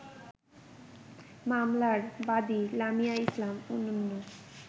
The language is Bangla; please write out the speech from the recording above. মামলার বাদি লামিয়া ইসলাম অনন্যা